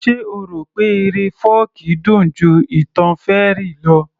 Ṣe o rò pé eré fọ́ọ̀kí dùn ju ìtàn fairy lọ